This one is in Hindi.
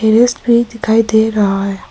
सूर्यास्त भी दिखाई दे रहा है।